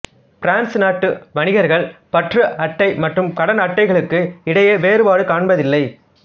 France நாட்டு வணிகர்கள் பற்று அட்டை மற்றும் கடன் அட்டைகளுக்கு இடையே வேறுபாடு காண்பதில்லை